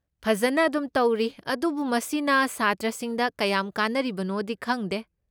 ꯐꯖꯟꯅ ꯑꯗꯨꯝ ꯇꯧꯔꯤ ꯑꯗꯨꯕꯨ ꯃꯁꯤꯅ ꯁꯥꯇ꯭ꯔꯁꯤꯡꯗ ꯀꯌꯥꯝ ꯀꯥꯟꯅꯔꯤꯕꯅꯣꯗꯤ ꯈꯪꯗꯦ꯫